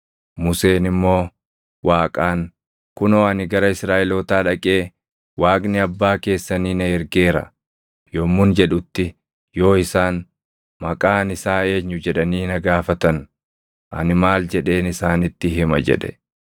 Museen immoo Waaqaan, “Kunoo ani gara Israaʼelootaa dhaqee, ‘Waaqni abbaa keessanii na ergeera’ yommun jedhutti yoo isaan, ‘Maqaan isaa eenyu?’ jedhanii na gaafatan, ani maal jedheen isaanitti hima?” jedhe.